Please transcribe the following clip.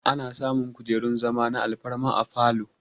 Ana samun kujerun zama na alfarma a falow